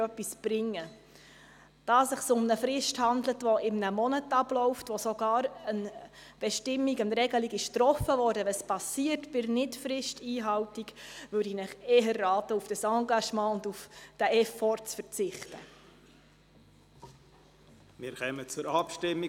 Der Regierungsrat soll sich auf Bundesebene dauerhaft mit allen in Frage kommenden Möglichkeiten und mit Nachdruck dafür einsetzen, dass die Bestimmungen des Raumplanungsgesetzes entsprechend angepasst werden.